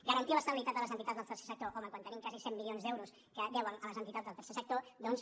garantir l’estabilitat de les entitats del tercer sector home quan tenim quasi cent milions d’euros que deuen a les entitats del tercer sector doncs